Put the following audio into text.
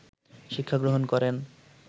শিক্ষাগ্রহণ করেন